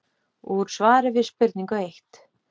Úr svari við spurningu eitt